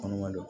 Kɔnɔma don